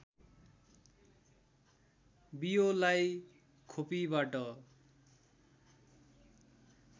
बियोलाई खोपीबाट